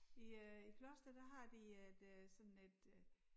I øh i Kloster der har de øh et øh sådan et øh